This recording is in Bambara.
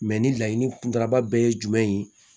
Mɛ ni laɲini kuntalaba bɛɛ ye jumɛn ye